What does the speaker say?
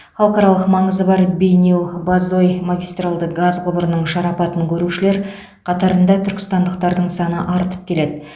халықаралық маңызы бар бейнеу бозой магистралды газ құбырының шарапатын көрушілер қатарында түркістандықтардың саны артып келеді